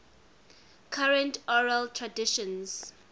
current oral traditions